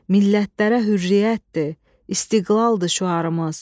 Millətlərə hürriyyətdir, istiqlaldır şüarımız.